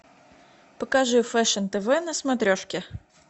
покажи фэшн тв на смотрешке